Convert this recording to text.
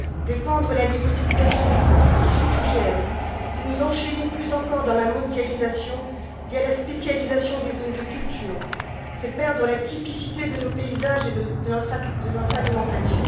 Défendre la libre circulation des produits issus d'OGM, c'est nous enchaîner plus encore dans la mondialisation via la spécialisation des zones de culture, c'est perdre la typicité de nos paysages et de notre alimentation.